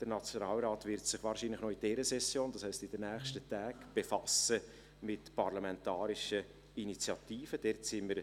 Der Nationalrat wird sich wahrscheinlich noch in dieser Session – das heisst: in den nächsten Tagen – mit parlamentarischen Initiativen befassen.